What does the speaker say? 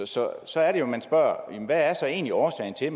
så så er det jo man spørger hvad er så egentlig årsagen til